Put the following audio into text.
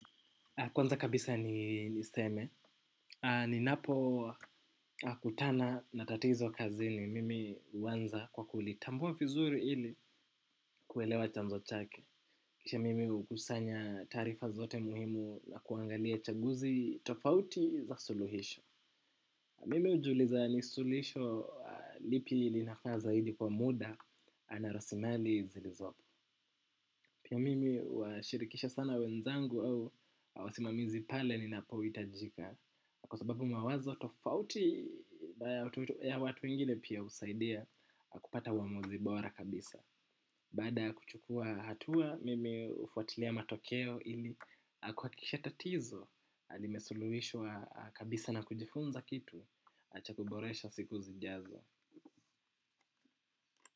Kwanza kabisa ni niseme, ninapo kutana na tatizo kazini mimi uwanza kwa kulitambua vizuri ili kuelewa chanzo chake. Kisha mimi ukusanya taarifa zote muhimu na kuangalia chaguzi tofauti za suluhisho. Mimi hujiuliza ni sulisho lipi linafaa zaidi kwa muda na raslimali zilizopo. Pia mimi huwashirikisha sana wenzangu au wasimamizi pale ninapo itajika. Kwa sababu mawazo tofauti ya watu wengine pia usaidia kupata uwamuzi bora kabisa. Baada ya kuchukua hatua mimi hufuatilia matokeo ili kuakikisha tatizo limesuluhishwa kabisa na kujifunza kitu cha kuboresha siku zijazo.